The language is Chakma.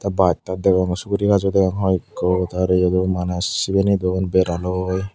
baj taj degong sugurigazo degong hoiekko tey araw iyot do maneh sibiney don bera loi.